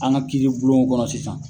An ka kiiri bulonw kɔrɔ sisan.